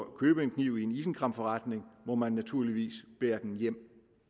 at købe en kniv i en isenkræmmerforretning må man naturligvis bære den hjem